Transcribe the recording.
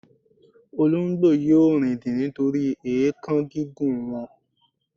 olongbo yíò rindin nitori èékán gígùn wọn